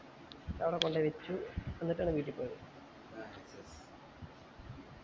ആട കൊണ്ടോയി വച്ചു ന്നിട്ടാണ് വീട്ടി പോയത്